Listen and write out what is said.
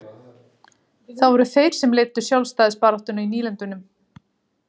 Það voru þeir sem leiddu sjálfstæðisbaráttuna í nýlendunum.